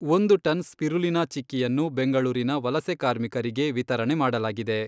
ಒಂದು ton spirulina ಚಿಕ್ಕಿಯನ್ನು ಬೆಂಗಳೂರಿನ ವಲಸೆ ಕಾರ್ಮಿಕರಿಗೆ ವಿತರಣೆ ಮಾಡಲಾಗಿದೆ.